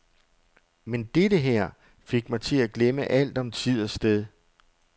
Men dette her fik mig til at glemme alt om tid og sted.